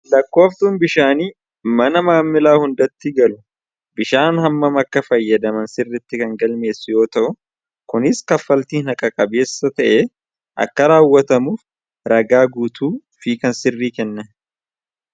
Lakkooftuun bishaanii, mana maamilaa hundatti galu bishaan hamman akka fayyadaman sirriitti kan galmeessu yoo ta'u, kunis kaffaltiin haqa qabeessa ta'ee akka raawwatamuuf ragaa guutuu fi kan sirrii kenna.